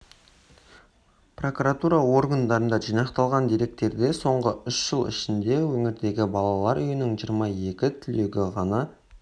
прокуратура органдарында жинақталған деректерде соңғы үш жыл ішінде өңірдегі балалар үйінің жиырма екі түлегі ғана